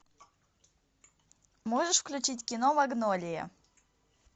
можешь включить кино магнолия